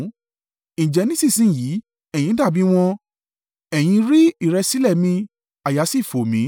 Ǹjẹ́ nísinsin yìí, ẹ̀yin dàbí wọn; ẹ̀yin rí ìrẹ̀sílẹ̀ mi àyà sì fò mí.